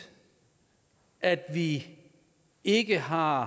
at vi ikke har